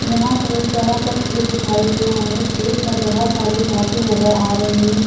यहाँ पर एक बड़ा सा खेत दिखाई दे रहा है खेत पर बहुत सारी घासें नजर आ रही हैं ।